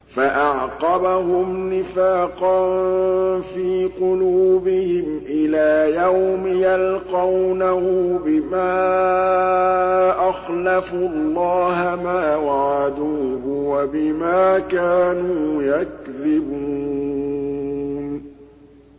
فَأَعْقَبَهُمْ نِفَاقًا فِي قُلُوبِهِمْ إِلَىٰ يَوْمِ يَلْقَوْنَهُ بِمَا أَخْلَفُوا اللَّهَ مَا وَعَدُوهُ وَبِمَا كَانُوا يَكْذِبُونَ